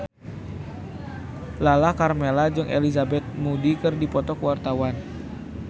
Lala Karmela jeung Elizabeth Moody keur dipoto ku wartawan